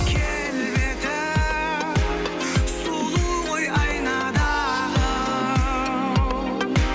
келбеті сұлу ғой айнадағы